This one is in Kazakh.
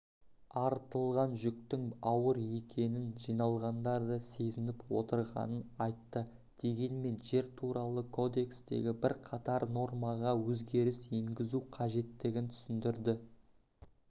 артылған жүктің ауыр екенін жиналғандар да сезініп отырғанын айтты дегенмен жер туралы кодекстегі бірқатар нормаға өзгеріс енгізу қажеттігін түсіндірді